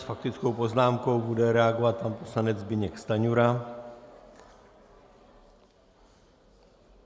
S faktickou poznámkou bude reagovat pan poslanec Zbyněk Stanjura.